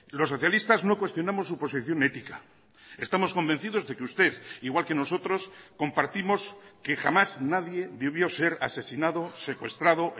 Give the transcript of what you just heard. los socialistas no cuestionamos su posición ética estamos convencidos de que usted igual que nosotros compartimos que jamás nadie debió ser asesinado secuestrado